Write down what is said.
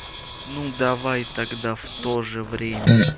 ну давай тогда в тоже время